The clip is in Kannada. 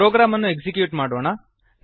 ಪ್ರೊಗ್ರಾಮ್ ಅನ್ನು ಎಕ್ಸಿಕ್ಯೂಟ್ ಮಾಡೋಣ